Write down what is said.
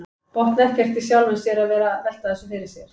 Botnar ekkert í sjálfum sér að vera að velta þessu fyrir sér.